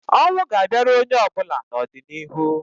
Ọnwụ ga-abịara onye ọbụla n'ọdịniihu